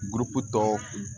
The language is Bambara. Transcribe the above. Gurupu tɔ